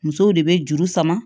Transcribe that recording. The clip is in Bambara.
Musow de bɛ juru sama